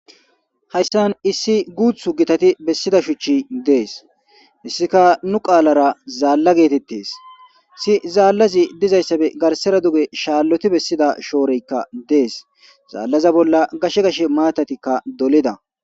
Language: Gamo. hayssan issi guuthu gitati bessida shuchi dees hssika nu qaalara zaalla geetettes hesi zaallazi dizayssabe garsera duge shaalloti bessida shooreykka dees zaallaza bolla gashe gash maatatikka dolida